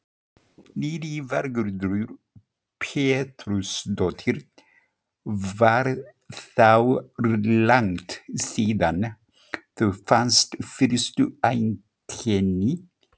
Lillý Valgerður Pétursdóttir: Var þá langt síðan þú fannst fyrstu einkenni?